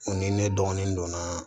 ni ne dɔgɔnin don na